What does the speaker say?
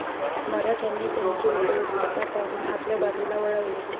मराठ्यांनी त्यांची उपयुक्तता पाहून आपल्या बाजूला वळवले.